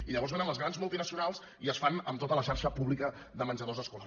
i llavors vénen les grans multinacionals i es fan amb tota la xarxa pública de menjadors escolars